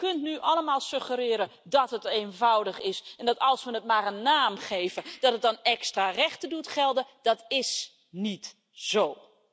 U kunt nu allemaal suggereren dat het eenvoudig is en dat als we het maar een naam geven, dat het dan extra rechten doet gelden. Dat is niet zo!